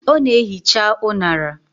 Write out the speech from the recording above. Ọ na-ehicha unara.